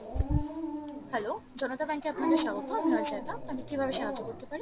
hello Janota bank এ আপনাকে স্বাগত আমি আমি কিভাবে সাহায্য করতে পারি